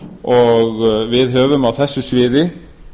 og við höfum á þessu sviði